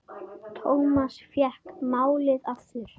Thomas fékk málið aftur.